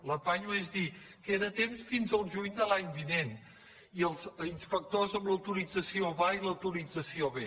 l’ apanyo és dir queda temps fins al juny de l’any vinent i els inspectors amb l’autorització va i l’autorització ve